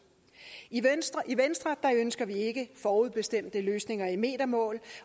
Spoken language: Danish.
i venstre ønsker vi ikke forudbestemte løsninger i metermål